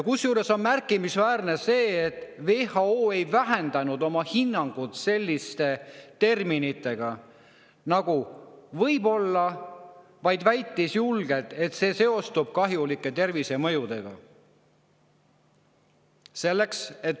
Kusjuures märkimisväärne on veel see, et WHO ei vähenda oma hinnangut sellise nagu "võib olla", vaid väidab julgelt, et see seostub kahjulike tervisemõjudega.